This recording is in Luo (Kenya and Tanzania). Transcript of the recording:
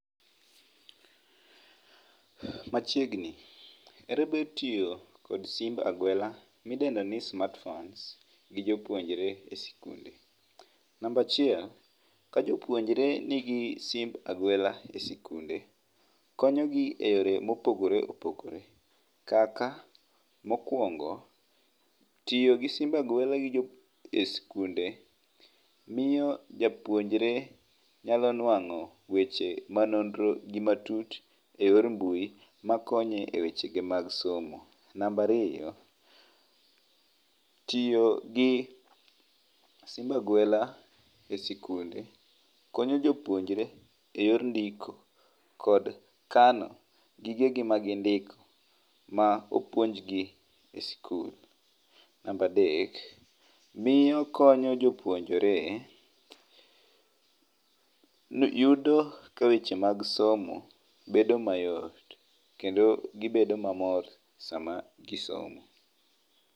Machiegni, ere ber tiyo kod simb aguela midendo ni smartphones gi jopuonjre e sikunde. Namba achiel, ka jopuonjre nigi simb aguela e sikunde, konyogi e yore mopogore opogore, kaka mokwongo, tiyo gi simb aguela e sikunde miyo japuonjre nyalo nwang'o weche manonro gi matut e yor mbui, makonye e weche ge mag somo. Namba ariyo, tiyo gi simb aguela e sikunde konyo jopuonjre e yor ndiko kod kano gigegi magindiko ma opuonjgi e sikul. Namba adek, miyo konyo jopuonjre ,yudo ka weche mag somo bedo mayot, kendo gibedo mamor sama gisomo.